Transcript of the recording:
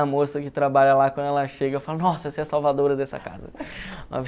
A moça que trabalha lá, quando ela chega, eu falo, nossa, você é a salvadora dessa casa.